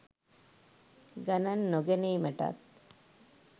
ගණන් නොගැනීමටත්